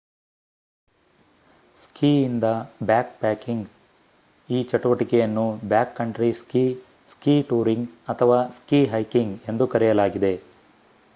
ಸ್ಕಿ ಇಂದ ಬ್ಯಾಕ್‌ಪ್ಯಾಕಿಂಗ್: ಈ ಚಟುವಟಿಕೆಯನ್ನು ಬ್ಯಾಕ್‌ಕಂಟ್ರಿ ಸ್ಕೀ ಸ್ಕೀ ಟೂರಿಂಗ್ ಅಥವಾ ಸ್ಕೀ ಹೈಕಿಂಗ್ ಎಂದೂ ಕರೆಯಲಾಗಿದೆ